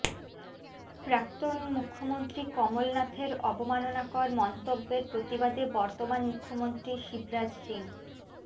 প্রাক্তন মুখ্যমন্ত্রী কমলনাথের অবমাননাকর মন্তব্যের প্রতিবাদে বর্তমান মুখ্যমন্ত্রী শিবরাজ সিং